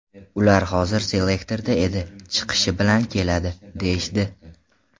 Ular hozir selektorda edi, chiqishi bilan keladi’, deyishdi.